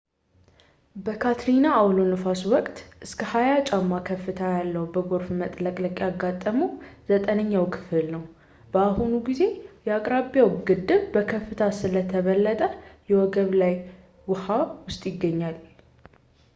በካትሪና አውሎነፋስ ወቅት እስከ 20 ጫማ ከፍታ ያለው በጎርፍ መጥለቅለቅ ያጋጠመው ዘጠነኛው ክፍል በአሁኑ ጊዜ የአቅራቢያው ግድብ በከፍታ ስለተበለጠ ከወገብ በላይ ውሃ ውስጥ ይገኛል